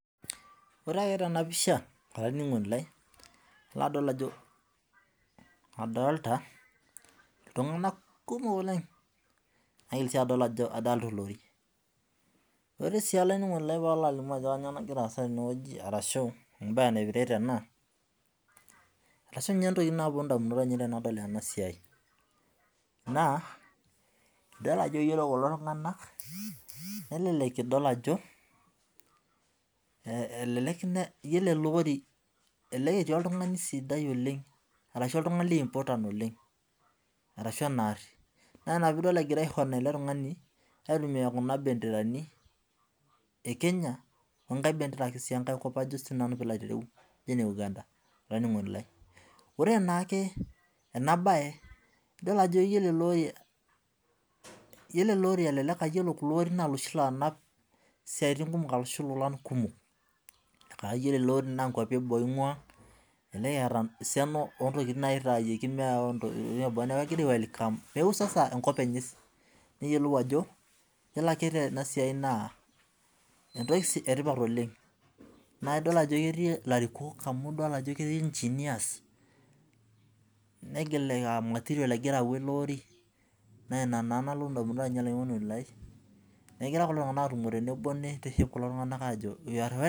Orw ake tenapisha ilo adol ajo adolita ltunganak kumok oleng naigil si adol ajo adolita olori ore si olaininingoni lai palo alimu ajo kanyio nagira aasa tene arashu mbaa naipirta ena keeta sinye ntokitin naponu ndamunot tanadol ena na idol ajo kulo tunganak elelek etii oltungani sidai oleng arashu oltungani important oleng na ina pidol egirai eletungani aitumia kuna benderani onlukie kwapi kajo ene uganda olaininingoni lai ore naake enabae iyilonlukonorin na loshi onap ilolan kumok na yiolo eloori na nkwapi eboo ingua enekiata esiana ontokitin nagira ayau neakubenkopbenye neyiolou ajo yiolo ake tenasia na entoki etipat oleng na idol ake ajo ketii larikok negilita material na ina nalotu ndamunot ainei enegira kulo tunganak aitiship kulo tunganak nejo